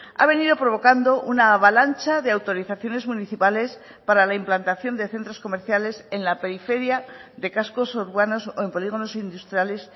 ha venido provocando una avalancha de autorizaciones municipales para la implantación de centros comerciales en la periferia de cascos urbanos o en polígonos industriales